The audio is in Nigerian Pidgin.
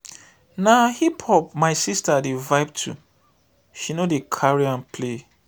na hip-hop my sista dey vibe to she no dey carry am play.